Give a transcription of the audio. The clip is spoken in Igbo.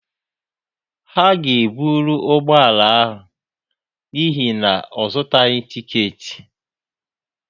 Ha ga-ebụrụ ụgbọ ala ya n'ihi na ọ zụtaghị tịketị